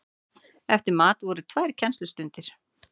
Eftir mat voru tvær kennslustundir.